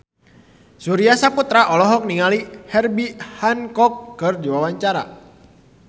Surya Saputra olohok ningali Herbie Hancock keur diwawancara